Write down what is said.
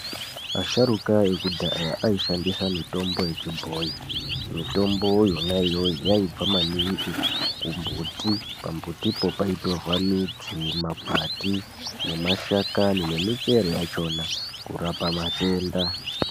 Asharuka ekudhaya aishandisa mitombo yechibhoyi. Mitomboyo yona iyoyo yaibva maningi kumbuti. Pambutipo paitorwa midzi, makwati, nemashakani ,nemichero yachona kurapa matenda.